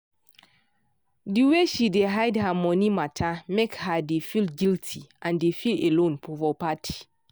di way she dey hide her money matter make her dey feel guilty and dey feel alone for party.